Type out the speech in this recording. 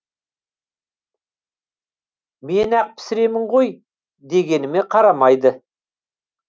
мен ақ пісіремін ғой дегеніме қарамайды